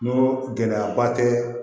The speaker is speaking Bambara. N'o gɛlɛyaba tɛ